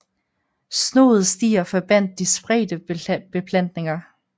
Snoede stier forbandt de spredte beplantninger